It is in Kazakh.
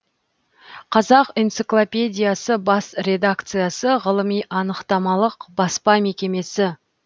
қазақ энциклопедиясы бас редакциясы ғылыми анықтамалық баспа мекемесі